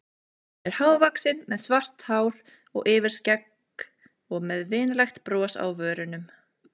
Hann er hávaxinn með svart hár og yfirskegg og með vinalegt bros á vörunum.